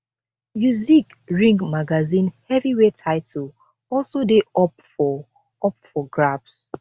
usyk ring magazine heavyweight title also dey up for up for grabs